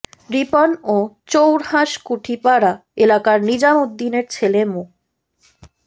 রিপন ও চৌড়হাঁস কুঠিপাড়া এলাকার নিজাম উদ্দিনের ছেলে মো